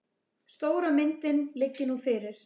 Stóra myndin liggi nú fyrir.